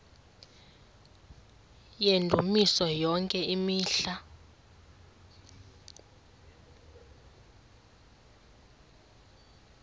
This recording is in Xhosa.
yendumiso yonke imihla